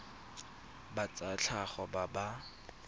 ba tsa tlhago ba ba